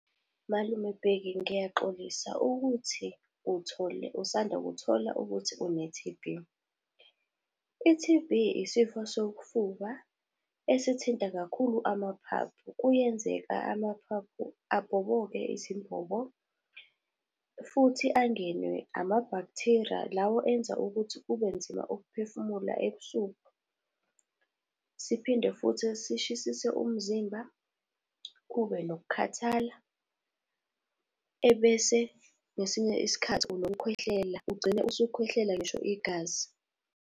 Malume Bheki ngiyaxolisa ukuthi uthole, usandakuthola ukuthi une-T_B. I-T_B, isifo sofuba, esithinta kakhulu amaphaphu kuyenzeka amaphaphu abhobonke izimbombo, futhi angenwe ama-bacteria lawo enza ukuthi kubenzima ukuphefumula ebusuku. Siphinde futhi sishisise umzimba, kube nokukhathala, ebese ngesinye isikhathi unokukhwehlela ugcine usukhwehlela ngisho igazi.